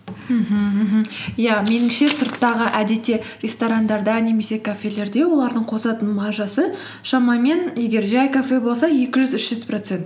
мхм мхм иә меніңше сырттағы әдетте ресторандарда немесе кафелерде олардың қосатын маржасы шамамен егер жай кафе болса екі жүз үш жүз процент